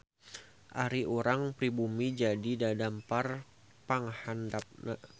Ari urang pribumi jadi dadampar panghandapna.